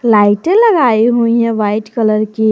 लाइटें लगाई हुई हैं वाइट कलर की।